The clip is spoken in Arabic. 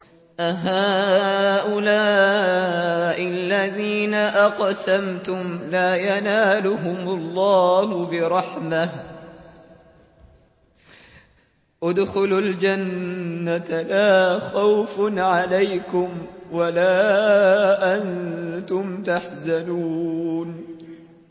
أَهَٰؤُلَاءِ الَّذِينَ أَقْسَمْتُمْ لَا يَنَالُهُمُ اللَّهُ بِرَحْمَةٍ ۚ ادْخُلُوا الْجَنَّةَ لَا خَوْفٌ عَلَيْكُمْ وَلَا أَنتُمْ تَحْزَنُونَ